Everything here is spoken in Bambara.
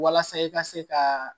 Walasa i ka se ka